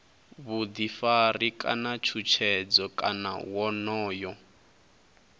vhuḓifari kana tshutshedzo kana wonoyo